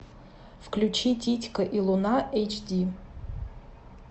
включи титька и луна эйч ди